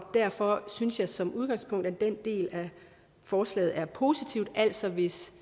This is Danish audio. derfor synes jeg som udgangspunkt at den del af forslaget er positiv altså hvis